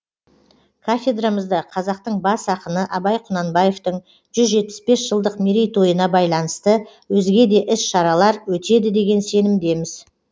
кафедрамызда қазақтың бас ақыны абай құнанбаевтың жүз жетпіс бес жылдық мерейтойына байланысты өзге де іс шаралар өтеді деген сенімдеміз